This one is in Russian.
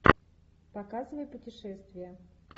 показывай путешествия